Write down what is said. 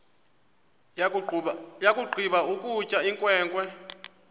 yakugqiba ukutya inkwenkwe